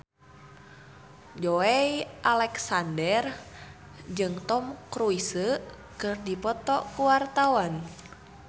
Joey Alexander jeung Tom Cruise keur dipoto ku wartawan